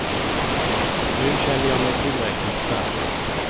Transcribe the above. Nu känner jag mig tillräckligt stark.